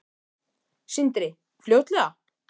Sindri: Fljótlega?